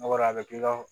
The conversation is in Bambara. N'a bɔr'a bɛ k'i ka